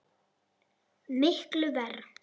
Miklu verr.